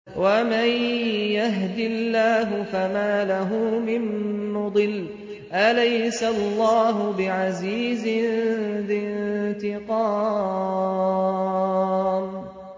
وَمَن يَهْدِ اللَّهُ فَمَا لَهُ مِن مُّضِلٍّ ۗ أَلَيْسَ اللَّهُ بِعَزِيزٍ ذِي انتِقَامٍ